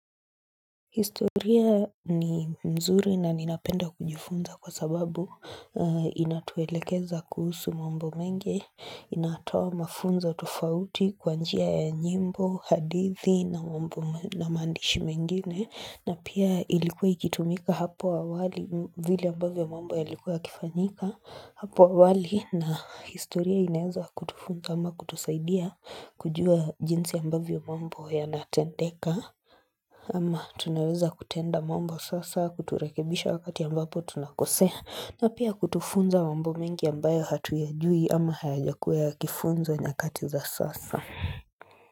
Historia ni mzuri na ninapenda kujifunza kwa sababu inatuelekeza kuhusu mambo mengi, inatoa mafunzo tofauti kwanjia ya nyimbo, hadithi na mambo na maandishi mengine na pia ilikuwa ikitumika hapo awali vile ambavyo mambo yalikuwa yakifanyika hapo awali na historia inaeza kutufunga ama kutusaidia kujua jinsi ambavyo mambo ya natendeka Ama tunaweza kutenda mambo sasa kuturekebisha wakati ambapo tunakosea na pia kutufunza mambo mengi ambayo hatuyajui ama hayajakuwa yakifunzwa nyakati za sasa.